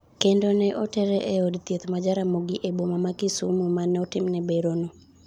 kendo ne otere eod thieth ma Jaramogi eboma ma Kisumo, manotimne berono